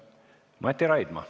Mati Raidma.